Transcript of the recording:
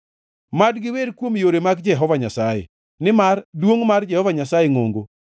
Mad giwer kuom yore mag Jehova Nyasaye, nimar duongʼ mar Jehova Nyasaye ngʼongo.